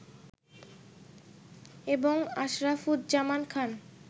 এবং আশরাফুজ্জামান খান